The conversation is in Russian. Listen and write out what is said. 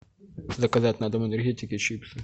заказать на дом энергетик и чипсы